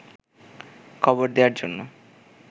কবর দেয়ার জন্য